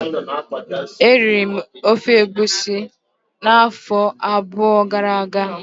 Eriri m ofe egusi afọ abụọ gara aga